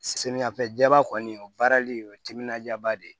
Samiyɛfɛ jaba kɔni o baarali o ye timinandiyaba de ye